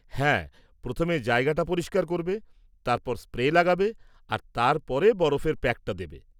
হ্যাঁ, প্রথমে জায়গাটা পরিষ্কার করবে, তারপর স্প্রে লাগাবে আর তার পরে বরফের প্যাকটা দেবে।